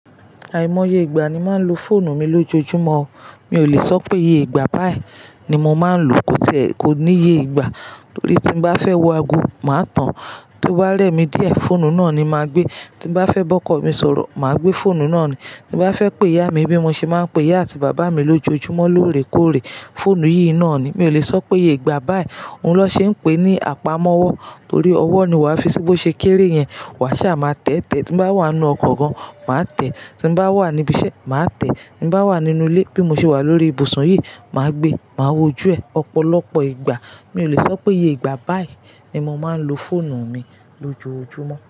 Àìmọye ìgbà ni màá lo fóònù mi lójoojúmọ́. Mi ò le sọ pé iye ìgbà báyìí ni mo máa ń lo, kò ní iye ìgbà. Torí tí n bá fẹ́ wo ago, màá tàn. Tó bá rẹ́ mi díẹ̀, fóònù náà ni màá gbé. Ti n bá fẹ́ bọ́kọ̀ mi sọ̀rọ̀, màá gbé fóònù náà ni. Ti n bá fẹ́ pé ìyá mi bí mo ṣe máa ń pè ìyá àti bàbá mi lójoojúmọ́ lóòrèkóòrè, fóònù yìí náà ni. Mi ò le sọ pé iye ìgbà báyìí. Òun ló ṣe ń pe ní àpamọ́wọ́. Torí ọwọ́ ni wàá fi sí bó ṣe kéré yẹn. Wàá ṣà máa tẹ́tẹ. Ti n bá wà nínú ọkọ̀ kan, màá tẹ́. Ti n bá wà ní ibi iṣẹ́, màá tẹ́. Ti n bá wà nínú ilé, bí mo ṣe wà lórí ìbùsùn yìí, màá gbé, màá wojú ẹ̀ ọ̀pọ̀lọpọ̀ ìgbà. Mi ò le sọ pé iye ìgbà báyìí ni mo máa ń lo fóònù mi lójoojúmọ́.